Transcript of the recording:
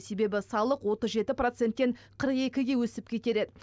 себебі салық отыз жеті проценттен қырық екіге өсіп кетер еді